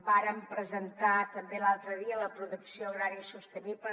vàrem presentar també l’altre dia la producció agrària sostenible